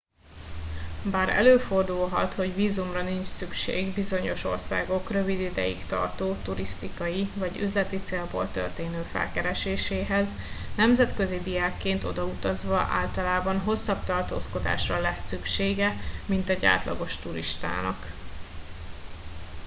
bár előfordulhat hogy vízumra nincs szükség bizonyos országok rövid ideig tartó turisztikai vagy üzleti célból történő felkereséséhez nemzetközi diákként odautazva általában hosszabb tartózkodásra lesz szüksége mint egy átlagos turistának